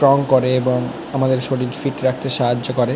Strong করে এবং আমাদের শরীর ফিট রাখতে সাহায্য করে।